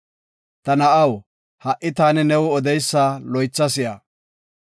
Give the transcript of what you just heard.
Ta na7aw, ha7i taani new odeysa loytha si7a.